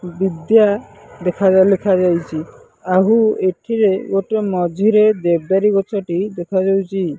ବିଦ୍ୟା ଦେଖାଯାଏ ଲେଖାଯାଇଛି ଆହୁ ଏଥିରେ ଗୋଟିଏ ମଝିରେ ଦେବଦାରୁ ଗଛଟିଏ ଦେଖାଯାଉଛି।